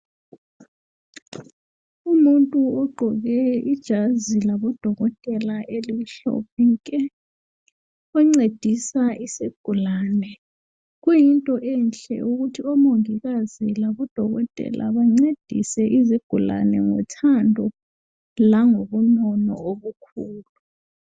Umuntu ugqoke ijazi labodokotela elimhlophe nke oncedisa isigulane. Kuyinto enhle ukuthi omongikazi labodokotela bancedise izigulane ngothando langobunono obukhulu.